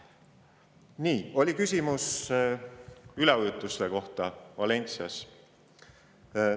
Nii, oli küsimus üleujutuste kohta Valencias.